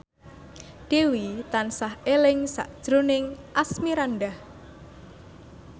Dewi tansah eling sakjroning Asmirandah